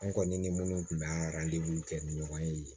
An kɔni ni minnu tun bɛ kɛ ni ɲɔgɔn ye